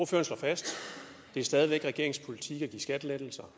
fast at det stadig væk er regeringens politik at give skattelettelser